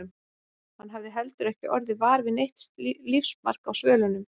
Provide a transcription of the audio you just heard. Hann hafði heldur ekki orðið var við neitt lífsmark á svölunum.